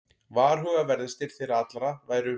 Varhugaverðastir þeirra allra væru